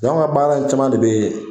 anw ka baara in caman de bɛ ye